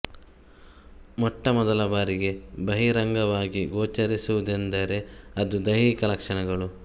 ಮೊಟ್ಟ ಮೊದಲ ಬಾರಿಗೆ ಬಹಿರಂಗವಾಗಿ ಗೋಚರಿಸುವುದೆಂದರೆ ಅದು ದೈಹಿಕ ಲಕ್ಷಣಗಳು